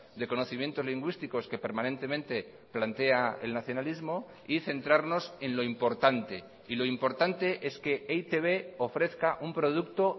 de conocimientos lingüísticos que permanentemente plantea el nacionalismo y centrarnos en lo importante y lo importante es que e i te be ofrezca un producto